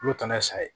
Olu taa n'a ye sa ye